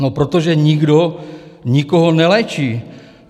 No protože nikdo nikoho neléčí.